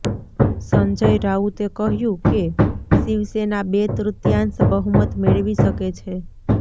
સંજય રાઉતે કહ્યું કે શિવસેના બે તૃત્યાંશ બહુમત મેળવી શકે છે